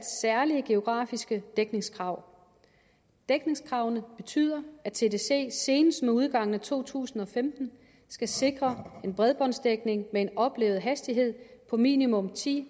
særlige geografiske dækningskrav dækningskravene betyder at tdc senest med udgangen af to tusind og femten skal sikre en bredbåndsdækning med en oplevet hastighed på minimum ti